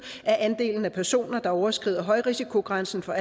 er andelen af personer der overskrider højrisikogrænsen for